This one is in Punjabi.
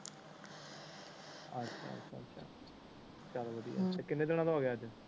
ਚਾਲ ਵਧਿਆ ਅੱਛਾ ਕਿੰਨੇ ਦਿਨਾਂ ਦਾ ਹੋਗਿਆ ਅਜ